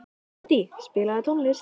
Addý, spilaðu tónlist.